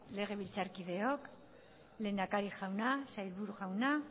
legebiltzarkideok lehendakari jauna sailburu jauna